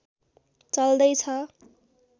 चल्दै छ